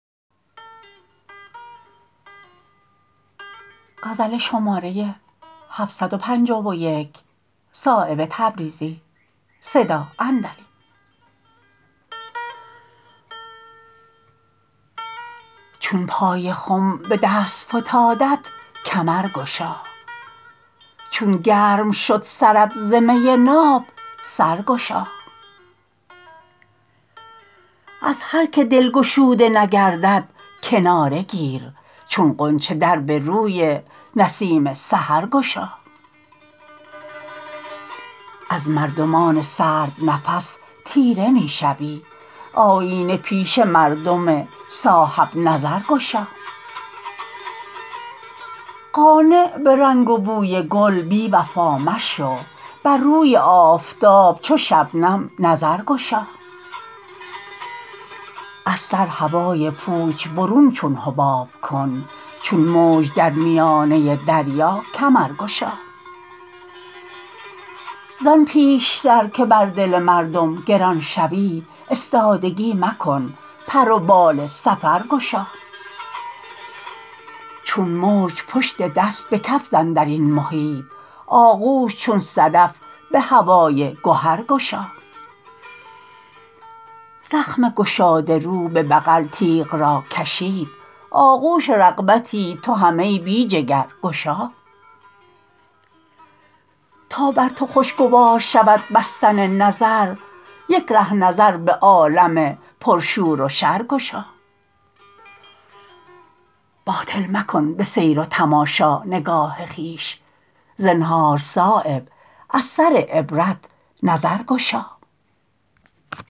چون پای خم به دست فتادت کمر گشا چون گرم شد سرت ز می ناب سر گشا از هر که دل گشوده نگردد کناره گیر چون غنچه در به روی نسیم سحر گشا از مردمان سرد نفس تیره می شوی آیینه پیش مردم صاحب نظر گشا قانع به رنگ و بوی گل بی وفا مشو بر روی آفتاب چو شبنم نظر گشا از سر هوای پوچ برون چون حباب کن چون موج در میانه دریا کمر گشا زان پیشتر که بر دل مردم گران شوی استادگی مکن پر و بال سفر گشا چون موج پشت دست به کف زن درین محیط آغوش چون صدف به هوای گهر گشا زخم گشاده رو به بغل تیغ را کشید آغوش رغبتی تو هم ای بی جگر گشا تا بر تو خوشگوار شود بستن نظر یک ره نظر به عالم پر شور و شر گشا باطل مکن به سیر و تماشا نگاه خویش زنهار صایب از سر عبرت نظر گشا